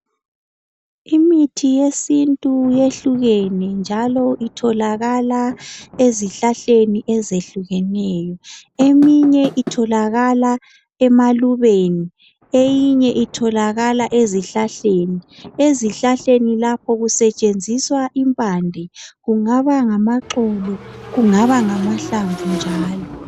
Imithi yesintu yehlukene njalo itholakala endaweni ezihlahleni ezehlukeneyo. Eminye itholakala emalubeni eyinye itholakala ezihlahleni. Ezihlahleni lapho kusetshenziswa impande kungaba ngamaxolo kungaba ngamahlamvu njalo.